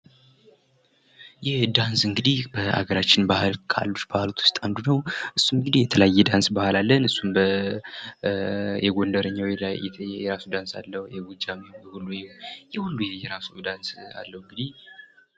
ዳንስ እንግዲህ ሀገራችን ባህል ካሉ ባህላቶች ውስጥ አንዱ ነው። እሱ እንግዲ የተለያዩ የዳንስ ባህል አለን የጎንደሬኛ የራሱ ዳንስ አለው። የጎጃም፣ የወሎ የራሱን ሁሉም የየራሱ ዳንስ አለው እንግዲህ..